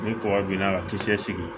Ni kɔgɔ b'i la ka kisɛ sigi